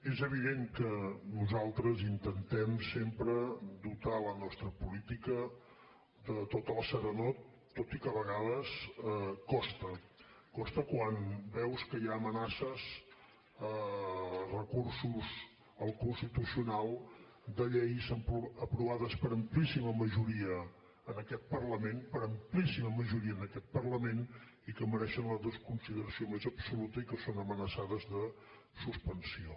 és evident que nosaltres intentem sempre dotar la nostra política de tota la serenor tot i que a vegades costa costa quan veus que hi ha amenaces recursos al constitucional de lleis aprovades per amplíssima majoria en aquest parlament per amplíssima majoria en aquest parlament i que mereixen la desconsideració més absoluta i que són amenaçades de suspensió